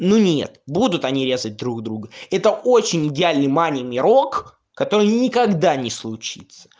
ну нет будут они резать друг друга это очень идеальный манямирок который никогда не случится